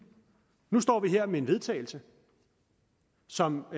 nu står vi her med et vedtagelse som